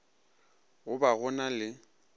go ba go na le